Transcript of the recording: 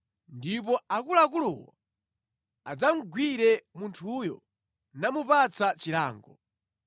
ndipo akuluakuluwo adzamugwire munthuyo namupatsa chilango.